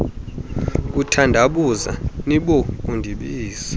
kuthandabuza nibo kundibiza